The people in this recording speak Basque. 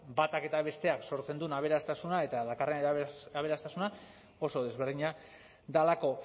batak eta besteak sortzen duen aberastasuna eta dakarren aberastasuna oso desberdina delako